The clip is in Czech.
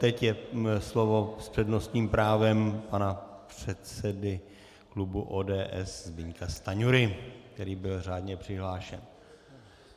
Teď je slovo s přednostním právem pana předsedy klubu ODS Zbyňka Stanjury, který byl řádně přihlášen.